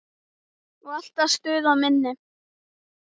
Og alltaf stuð á minni.